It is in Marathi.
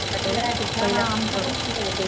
फ्लॅट ये हा आमचा पण फ्लॅट ये